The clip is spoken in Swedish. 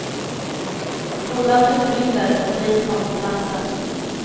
Skolan utrymdes och polis kom till platsen.